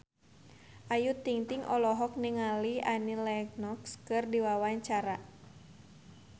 Ayu Ting-ting olohok ningali Annie Lenox keur diwawancara